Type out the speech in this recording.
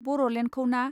बर'लेण्डखौना.